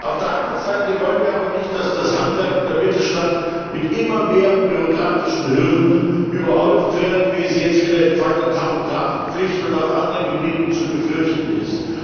Auf der anderen Seite wollen wir aber nicht, dass das Handwerk und der Mittelstand mit immer mehr bürokratischen Hürden überhäuft werden, wie es jetzt wieder im Fall der Tachografenpflicht und auf anderen Gebieten zu befürchten ist.